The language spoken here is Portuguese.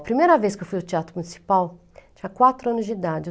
A primeira vez que eu fui ao Teatro Municipal, tinha quatro anos de idade.